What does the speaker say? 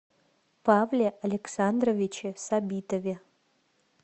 павле александровиче сабитове